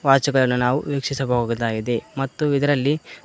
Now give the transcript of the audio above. watch ಗನ ನಾವು ವೀಕ್ಷಿಸಬಹುದಾಗಿದೆ ಮತ್ತು ಇದರಲ್ಲಿ--